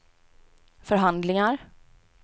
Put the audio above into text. förhandlingar